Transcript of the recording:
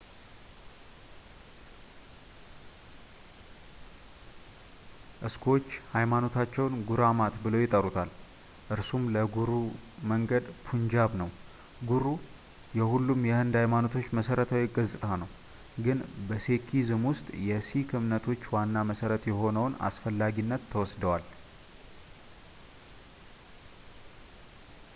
እስኩዎች ሃይማኖታቸውን ጉራማት ብለው ይጠሩታል ፣ እርሱም ለጉሩ መንገድ ፑንጃብ ነው። ጉሩ የሁሉም የህንድ ሃይማኖቶች መሠረታዊ ገጽታ ነው፣ ግን በሴኪዝም ውስጥ የሲክ እምነቶች ዋና መሠረት የሆነውን አስፈላጊነት ተወስደዋል።